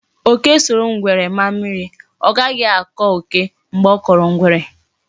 Oke soro ngwere maa mmiri, o ghahi ako oke mgbe o koro ngwere.